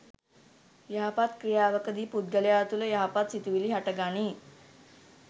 යහපත් ක්‍රියාවක දී පුද්ගලයා තුළ යහපත් සිතුවිලි හටගනී.